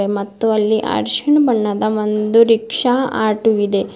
ಮತ್ತು ಅಲ್ಲಿ ಅರ್ಶಿಣ ಬಣ್ಣದ ಒಂದು ರಿಕ್ಷಾ ಆಟೋವಿದೆ.